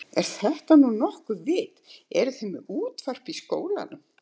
Er þetta nú nokkurt vit. eruð þið með útvarp í skólanum?